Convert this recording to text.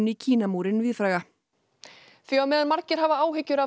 Kínamúrinn víðfræga því á meðan margir hafa áhyggjur af